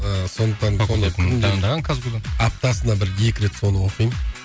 аптасына бір екі рет соны оқимын